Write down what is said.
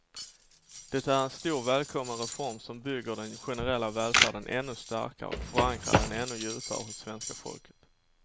Det är en stor, välkommen reform som bygger den generella välfärden ännu starkare och förankrar den ännu djupare hos svenska folket.